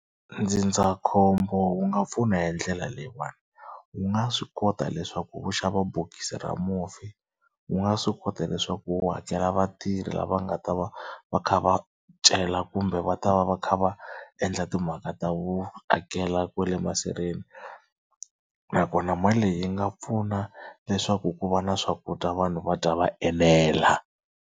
Ndzindzakhombo wu nga pfuna hi ndlela leyiwani wu nga swi kota leswaku wu xava bokisi ra mufi, wu nga swi kota leswaku wu hakela vatirhi lava nga ta va va kha va cela kumbe va ta va va kha va endla timhaka ta vu akela kwale masirheni nakona mali leyi yi nga pfuna leswaku ku va na swakudya vanhu va dya va enela.